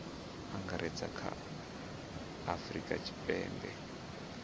angaredza kha a afurika tshipembe